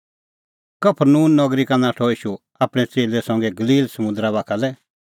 कफरनहूम नगरी का नाठअ ईशू आपणैं च़ेल्लै संघै गलील समुंदरा बाखा लै